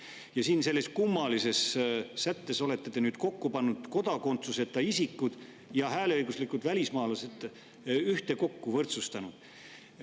Ja siin selles kummalises sättes olete te nüüd pannud kodakondsuseta isikud ja hääleõiguslikud välismaalased ühtekokku, võrdsustanud.